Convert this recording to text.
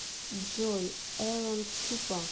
джой эрончупа